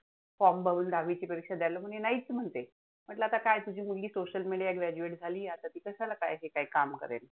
Form भरून दहावीची परीक्षा द्यायला तर ती नाहीच म्हणते, म्हटलं आता काय तुझी मुलगी social media graduate झाली, आता तिला काय कशाला पाहिजे काम करायचं?